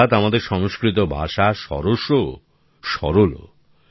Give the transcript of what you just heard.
অর্থাৎ আমাদের সংস্কৃত ভাষা সরসও সরলও